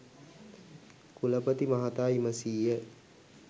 කුලපති මහතා විමසීය